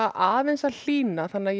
aðeins að hlýna þannig ég